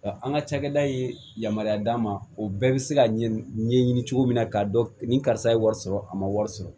Nka an ka cakɛda ye yamaruya d'a ma o bɛɛ bɛ se ka ɲɛɲini cogo min na k'a dɔn ni karisa ye wari sɔrɔ a ma wari sɔrɔ